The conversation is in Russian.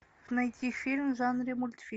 найти фильм в жанре мультфильм